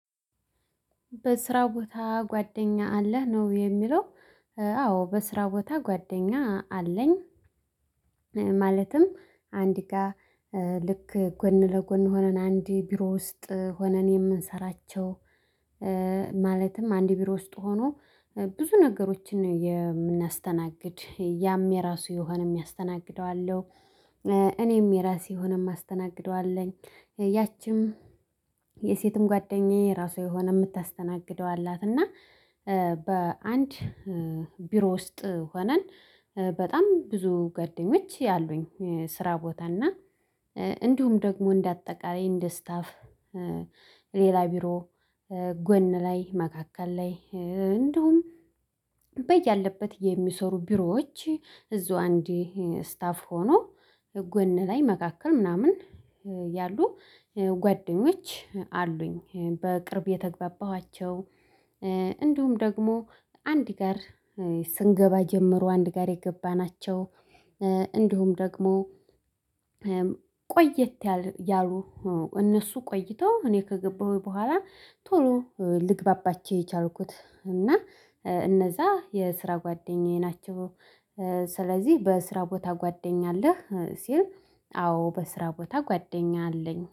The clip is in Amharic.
በስራ ቦታ ጓደኛ አለህ? ነው የሚለው። አዎ በስራ ቦታ ጓደኛ አለኝ። ማለትም አንድ ጋር ልክ ጎን ለጎን ሆነን አንድ ቢሮ ውስጥ ሆነን የምንሰራቸው፣ ማለትም አንድ ቢሮ ውስጥ ሆኖ ብዙ ነገሮችን የምናስተናግድ፣ ያም የራሱ የሆነም ያስተናግደው አለው። እኔም የራሴ ሆነን የማስተናግደው አለኝ። ያቺም የሴትም ጓደኛዬ ራሱ የሆነ የምታስተናግደው አላት። እና በአንድ ቢሮ ውስጥ ሆነን በጣም ብዙ ጓደኞች አሉኝ ስራ ቦታ እና እንዲሁም ደግሞ እንደ አጠቃላይ እንደ ስታፍ ሌላ ቢሮ፣ ጎን ላይ፣ መካከል ላይ፣ እንደውም በያለበት የሚሰሩ ቢሮዎች እዛው አንዴ ስታፍ ሆኖ ጎን ላይ፣ መካከል ምናምን ያሉ ጓደኞች አሉኝ። በቅርብ የተግባባኋቸው፣ እንዲሁም ደግሞ አንድ ጋር ስንገባ ጀምሮ አንድ ጋር የገባናቸው እንዲሁም፣ ደግሞ ቆየት ያሉ እነሱ ቆይቶ እኔ ከገባሁኝ በኋላ ቶሎ ልግባባችሁ የቻልኩት እና እነዛ የስራ ጓደኛዬ ናቸው። ስለዚህ በስራ ቦታ ጓደኛ አለህ? ሲል አዎ በስራ ቦታ ጓደኛ አለኝ።